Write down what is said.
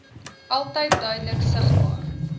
altyd duidelik sigbaar